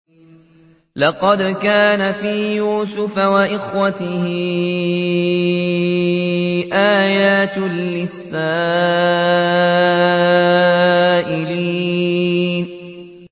۞ لَّقَدْ كَانَ فِي يُوسُفَ وَإِخْوَتِهِ آيَاتٌ لِّلسَّائِلِينَ